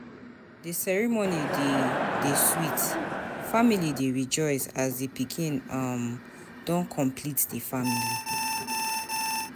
The ceremony dey dey sweet, family dey rejoice as di pikin um don complete the family.